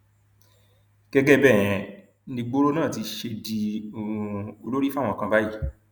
gẹgẹ bẹẹ um nìgboro náà ti ṣe di um olórí fáwọn kan báyìí